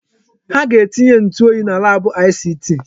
Ha ga-etinye ntụ oyi na laabụ ICT.